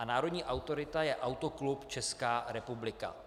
A národní autorita je Autoklub Česká republika.